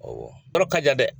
Awɔ yɔrɔ ka jan dɛ.